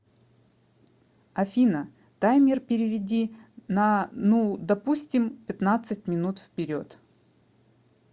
афина таймер переведи на ну допустим пятнадцать минут вперед